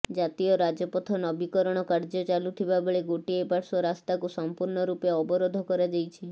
ଜାତୀୟ ରାଜପଥ ନବିକରଣ କାର୍ଯ୍ୟ ଚାଲୁଥିବା ବେଳେ ଗୋଟିଏ ପାର୍ଶ୍ବ ରାସ୍ତା କୁ ସଂପୂର୍ଣ୍ଣ ରୂପେ ଅବରୋଧ କରାଯାଇଛି